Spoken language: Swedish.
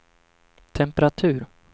temperatur